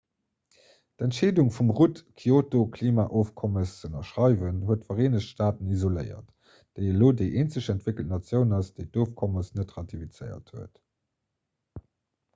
d'entscheedung vum rudd d'kyoto-klimaofkommes ze ënnerschreiwen huet d'vereenegt staaten isoléiert déi elo déi eenzeg entwéckelt natioun ass déi d'ofkommes net ratifizéiert huet